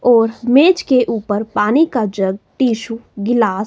और मेज के ऊपर पानी का जग टिशु गिलास--